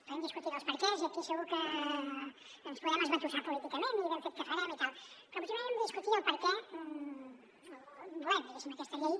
podem discutir dels perquès i aquí segur que ens podem esbatussar políticament i ben fet que farem i tal però potser primer hem de discutir per a què volem diguéssim aquesta llei